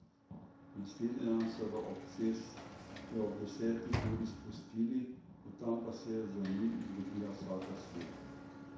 Naslednji dan so ga ob deseti uri izpustili, od tam pa se je za njim izgubila vsaka sled.